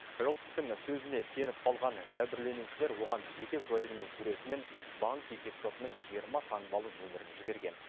жылпыстың сөзіне сеніп қалған жәбірленушілер оған жеке куәлігінің суреті мен банк есепшотының жиырма таңбалы нөмірін жіберген